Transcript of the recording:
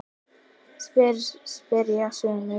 spyrja sumir.